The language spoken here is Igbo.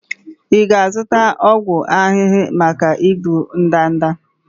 Ị na-azụta ọgwụ ahụhụ maka igbu ndanda?